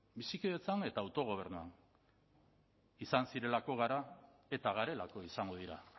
bizikidetzan eta autogobernuan izan zirelako gara eta garelako izango dira